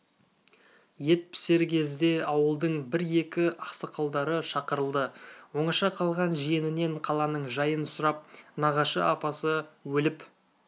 ет пісер кезде ауылдың бір-екі ақсақалдары шақырылды оңаша қалған жиенінен қаланың жайын сұрап нағашы апасы өліп